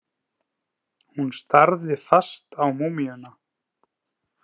Hún starði fast á múmíuna.